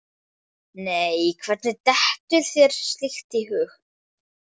Nei, hvernig dettur þér slíkt í hug?